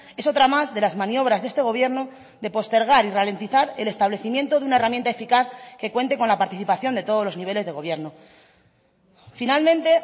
es otra más de las maniobras de este gobierno de postergar y ralentizar el establecimiento de una herramienta eficaz que cuente con la participación de todos los niveles de gobierno finalmente